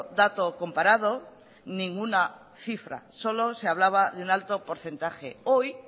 dato comparado ninguna cifra solo se hablaba de un alto porcentaje hoy